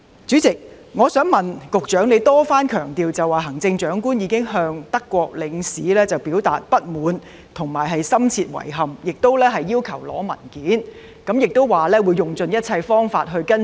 主席，局長多番強調行政長官已向德國領事表達不滿及深切遺憾，亦要求索取相關文件，並指會用盡一切方法跟進。